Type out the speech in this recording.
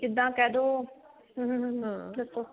ਜਿਦਾਂ ਕਿਹ ਦੋ ਹਮ ਹਮ ਦੱਸੋ